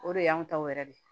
O de y'anw taw yɛrɛ de